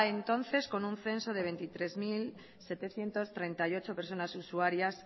entonces con un censo de veintitrés mil setecientos treinta y ocho personas usuarias